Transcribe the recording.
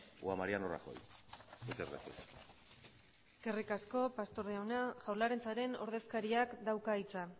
o a mariano rajoy muchas gracias eskerrik asko pastor jauna jaurlaritzaren ordezkariak dauka hitza